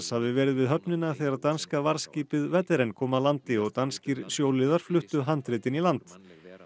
hafi verið við höfnina þegar danska varðskipið kom að landi og danskir fluttu handritin í land